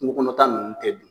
kunko kɔnɔta nunnu tɛ dun